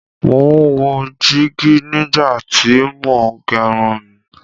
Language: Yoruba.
Mo ń wo jígí nígbà tí mo ń gẹrun mí